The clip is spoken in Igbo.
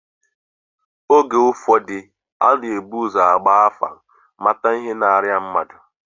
Oge ụfọdụ a na-ebu ụzọ gbaa afa, mata ihe na-arịa mmadụ